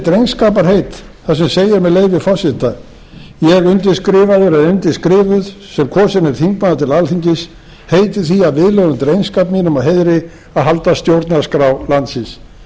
drengskaparheit þar sem segir með leyfi forseta ég undirskrifaður undirskrifuð sem kosinn er þingmaður til alþingis heiti því að viðlögðum drengskap mínum og heiðri að halda stjórnarskrá landsins